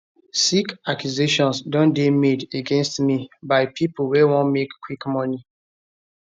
sick accusations don dey made against me by pipo wey wan make quick money